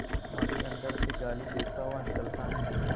माली अंदर से गाली देता हुआ निकलता है